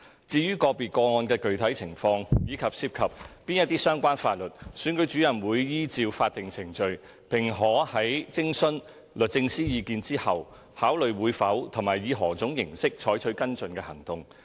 至於個別個案的具體情況，以及涉及哪些相關法律，選舉主任會依照法定程序，並可在徵詢律政司意見後，考慮會否和以何種方式採取跟進行動。